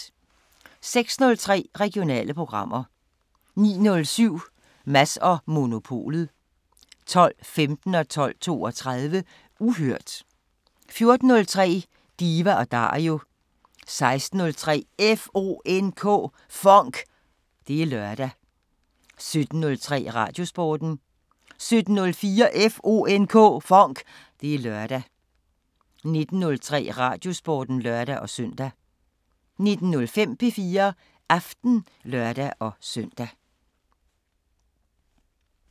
06:03: Regionale programmer 09:07: Mads & Monopolet 12:15: Uhørt 12:32: Uhørt 14:03: Diva & Dario 16:03: FONK! Det er lørdag 17:03: Radiosporten 17:04: FONK! Det er lørdag 19:03: Radiosporten (lør-søn) 19:05: P4 Aften (lør-søn)